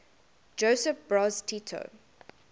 josip broz tito